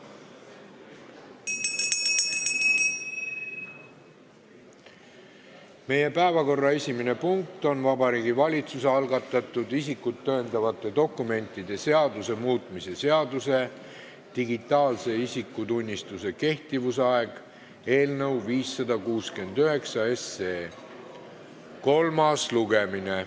Meie päevakorra esimene punkt on Vabariigi Valitsuse algatatud isikut tõendavate dokumentide seaduse muutmise seaduse eelnõu 569 kolmas lugemine.